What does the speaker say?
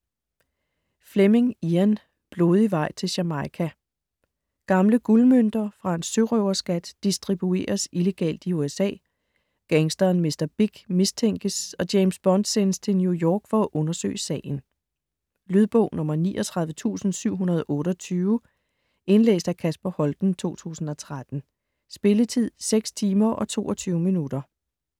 Fleming, Ian: Blodig vej til Jamaica Gamle guldmønter fra en sørøverskat distribueres illegalt i USA. Gangsteren Mr. Big mistænkes, og James Bond sendes til New York for at undersøge sagen. Lydbog 39728 Indlæst af Kasper Holten, 2013. Spilletid: 6 timer, 22 minutter.